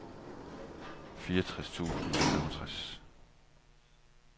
fireogtres tusind og femogtres